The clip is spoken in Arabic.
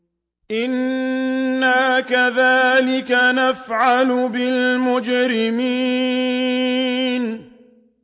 إِنَّا كَذَٰلِكَ نَفْعَلُ بِالْمُجْرِمِينَ